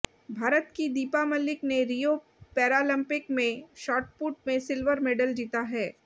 भारत की दीपा मलिक ने Rio Paralympic में शॉटपुट में सिल्वर मेडल जीता है